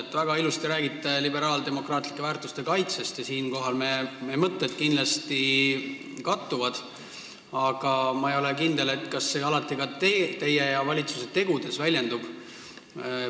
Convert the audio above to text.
Te väga ilusti rääkisite liberaaldemokraatlike väärtuste kaitsest – ja siinkohal me mõtted kindlasti kattuvad –, aga ma ei ole kindel, kas see alati ka teie ja valitsuse tegudes väljendub.